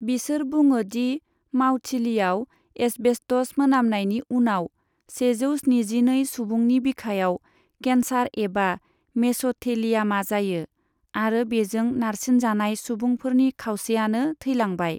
बिसोर बुङो दि मावथिलियाव एस्बेस्टस मोनामनायनि उनाव, सेजौ स्निजिनै सुबुंनि बिखायाव केन्सार एबा मेस'थेलियामा जायो, आरो बेजों नारसिनजानाय सुबुंफोरनि खावसेआनो थैलांबाय।